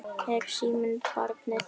Er síminn barnið þitt?